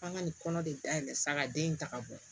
F'an ka nin kɔnɔ de dayɛlɛ saga den in ta ka bon